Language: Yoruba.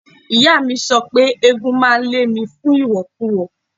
Ìyáàmi mi sọ pé eégún máa lé mi fún ìwọ̀kuwọ̀.